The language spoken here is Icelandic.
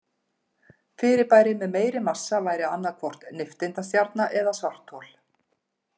Fyrirbæri með meiri massa væri annað hvort nifteindastjarna eða svarthol.